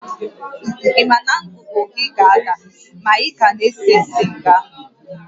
Ị ma na ngụgụ gị ga-ada ma ị ka na-ese siga?